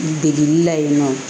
Degeli la yen nɔ